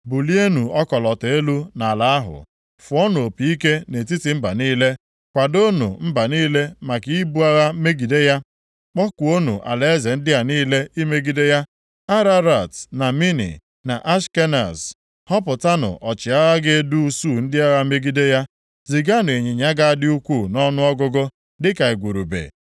“Bulienụ ọkọlọtọ elu nʼala ahụ. Fụọnụ opi ike nʼetiti mba niile. Kwadoonụ mba niile maka ibu agha megide ya; kpọkuonụ alaeze ndị a niile imegide ya: Ararat, na Mini, na Ashkenaz. Họpụtanụ ọchịagha ga-edu usuu ndị agha megide ya; ziganụ ịnyịnya ga-adị ukwuu nʼọnụọgụgụ, dịka igurube.